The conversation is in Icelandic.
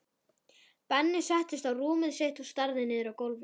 Benni settist á rúmið sitt og starði niður á gólfið.